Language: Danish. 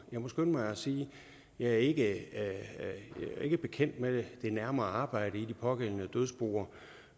jeg må skynde mig at sige at jeg ikke er bekendt med det nærmere arbejde i de pågældende dødsboer